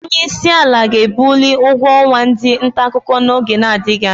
Onyeisiala ga-ebuli ụgwọ ọnwa ndị ntaakụkọ n'oge na-adịghị anya.